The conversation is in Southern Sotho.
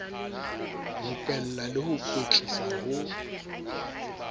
rupella le ho kwetlisa ho